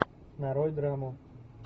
нарой драму